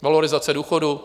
Valorizace důchodů.